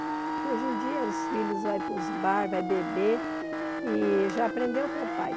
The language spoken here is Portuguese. Que hoje em dia, os filhos vão para os bares, vão beber, e já aprendeu com o pai.